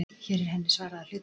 Hér er henni svarað að hluta.